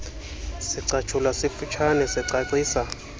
sicatshulwa sifutshane sicacisa